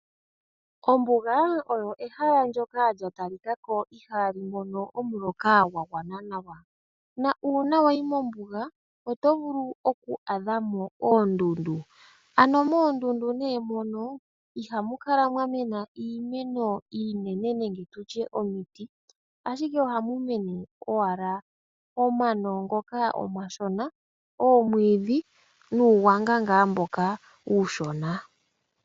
Ombuga olyo ehala ndyoka lya tali ka ko ihaali mono omuloka gwa gwana nawa, na uuna wayi mombuga oto vulu oku adha mo oondundu. Ano moondundu nee mono ihamu kala mwa mena iimeno iinene nenge tutye omiti, ashike ohamu mene owala omano ngoka omashona, omwiidhi nuugwanga ngaa mboka uushona.